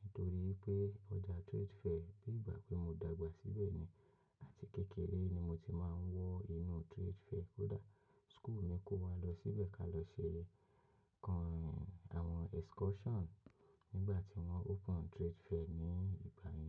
Nítorí pé ọjà Trade Fair, bí ìgbà pé mo dàgbà síbẹ̀ ni àti kékeré ni mo ti máa ń wọ inú Trade Fair. Kódà school mi kó wa lọ síbẹ̀ ká lọ ṣe kan àwọn excursion nígbà tí wọ́n open Trade Fair ní ìgbà yẹn.